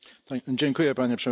Panie Przewodniczący!